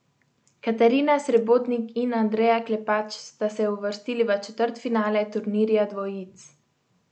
Katarina Srebotnik in Andreja Klepač sta se uvrstili v četrtfinale turnirja dvojic.